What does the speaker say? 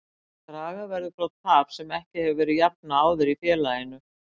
Draga verður frá tap sem ekki hefur verið jafnað áður í félaginu.